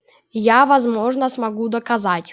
я возможно смогу доказать